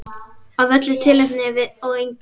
Af öllu tilefni og engu.